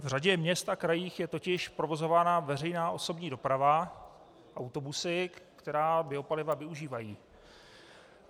V řadě měst a krajů je totiž provozována veřejná osobní doprava autobusy, která biopaliva využívají.